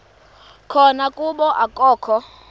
khona kuba akakho